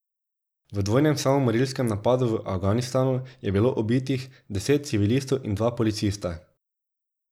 V dvojnem samomorilskem napadu v Afganistanu je bilo ubitih deset civilistov in dva policista.